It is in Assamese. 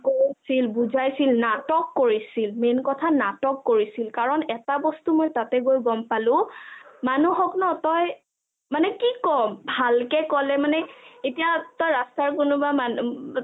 কৈছিল বুজাইছিল নাটক কৰিছিল main কথা নাটক কৰিছিল কাৰণ এটা বস্তু মই তাতে গৈ গম পালো মানুহক ন তই মানে কি কম ভালকে কলে মানে এতিয়া তই ৰাস্তা কোনোবা মানুহ